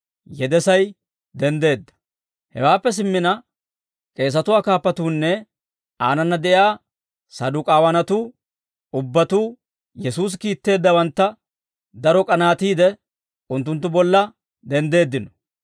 Hewaappe simmina k'eesatuwaa kaappuunne aanana de'iyaa Saduk'aawanatuu ubbatuu Yesuusi kiitteeddawantta daro k'anaatiide, unttunttu bolla denddeeddino.